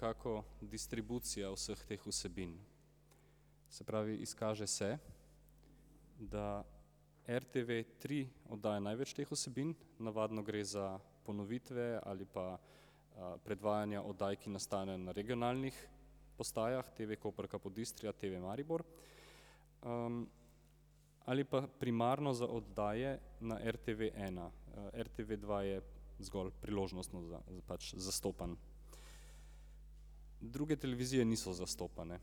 To je nekako distribucija vseh teh vsebin. Se pravi, izkaže se da RTV tri oddaja največ teh vsebin, navadno gre za ponovitve ali pa predvajanja oddaj, ki nastanejo na regionalnih postajah, TV Koper Capodistria, TV Maribor. Ali pa primarno za oddaje na RTV ena, RTV dva je zgolj priložnostno pač zastopan. Druge televizije niso zastopane.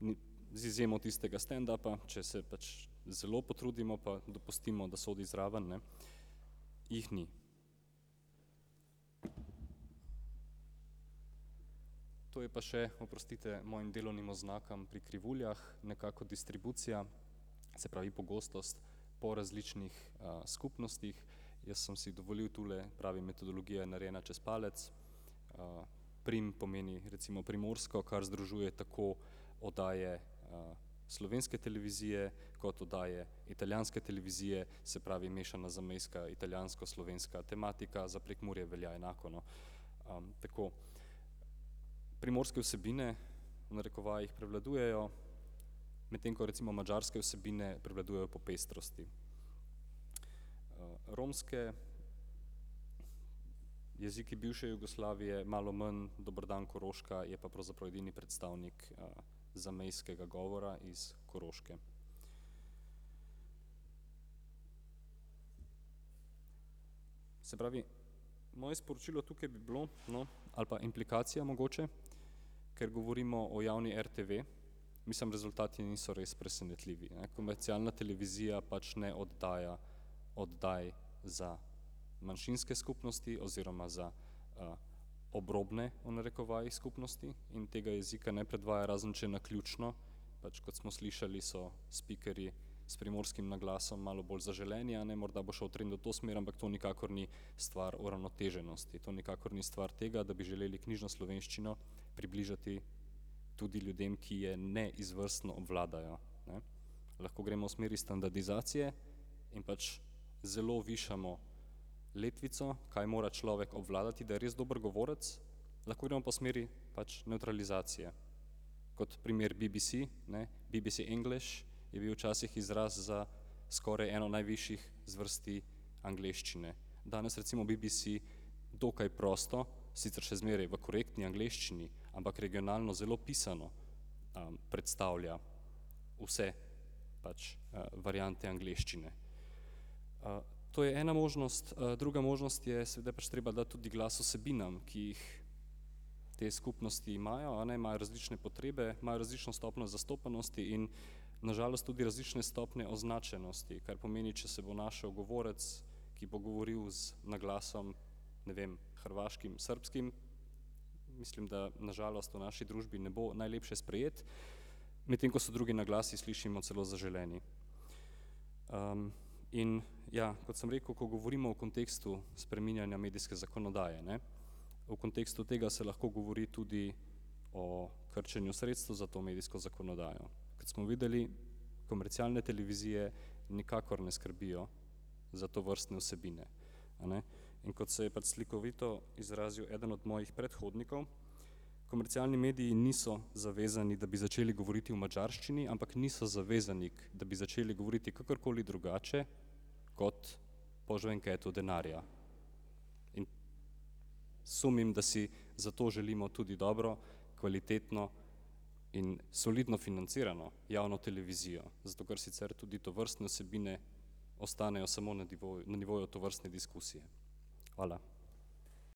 Ni, z izjemo tistega standupa, če se pač zelo potrudimo pa dopustimo, da sodi zraven, ne. Jih ni. To je pa še, oprostite mojim delovnim oznakam pri krivuljah, nekako distribucija. Se pravi pogostost po različnih skupnostih. Jaz sem si dovolili tule, pravi metodologija je narejena čez palec. Prim pomeni recimo primorsko, kar združuje tako oddaje slovenske televizije kot oddaje italijanske televizije, se pravi mešana zamejska italijansko-slovenska tematika, za Prekmurje velja enako, no. Tako. Primorske vsebine, v narekovajih, prevladujejo, medtem ko recimo madžarske vsebine prevladujejo po pestrosti. Romske, Jeziki bivše Jugoslavije malo manj, Dober dan, Koroška, je pa pravzaprav edini predstavnik zamejskega govora iz Koroške. Se pravi, moje sporočilo tukaj bi bilo, no, ali pa implikacija mogoče, ker govorimo o javni RTV. Mislim, rezultati niso res presenetljivi, ne, komercialna televizija pač ne oddaja oddaj za manjšinske skupnosti oziroma za obrobne, v narekovajih, skupnosti in tega jezika ne predvaja, razen če naključno. Pač kot smo slišali, so spikerji s primorskim naglasom malo bolj zaželeni, a ne, morda bo šel trend v to smer, ampak to nikakor ni stvar uravnoteženosti, to ni nikakor stvar tega, da bi želeli knjižno slovenščino približati tudi ljudem, ki je ne izvrstno obvladajo, ne. Lahko gremo v smeri standardizacije in pač zelo višamo letvico, kaj mora človek obvladati, da je res dober govorec, lahko gremo pa v smeri pač nevtralizacije. Kot primer BBB, ne, BBB English je bil včasih izraz za skoraj eno najvišjih zvrsti angleščine. Danes recimo BBC dokaj prosto, sicer še zmeraj v korektni angleščini, ampak regionalno zelo pisano predstavlja vse pač variante angleščine. To je ena možnost, druga možnost je seveda pač treba dati tudi glas vsebinam, ki jih te skupnosti imajo, a ne, imajo različne potrebe, imajo različno stopnjo zastopanosti in na žalost tudi različne stopnje označenosti, kar pomeni, če se bo našel govorec, ki bo govoril z naglasom, ne vem, hrvaškim, srbskim, mislim da, na žalost, v naši družbi ne bo najlepše sprejet. Medtem ko so drugi naglasi, slišimo, celo zaželeni. In ja, kot sem rekel, ko govorimo o kontekstu spreminjanja medijske zakonodaje, ne, v kontekstu tega se lahko govori tudi o krčenju sredstev za to medijsko zakonodajo. Kot smo videli, komercialne televizije nikakor ne skrbijo za tovrstne vsebine, a ne. In kot se je pač slikovito izrazil eden od mojih predhodnikov, komercialni mediji niso zavezani, da bi začeli govoriti v madžarščini, ampak niso zavezani, da bi začeli govoriti kakorkoli drugače kot po žvenketu denarja. In sumim, da si zato želimo tudi dobro, kvalitetno in solidno financirano javno televizijo, zato ker sicer tudi tovrstne vsebine ostanejo samo na na nivoju tovrstne diskusije. Hvala.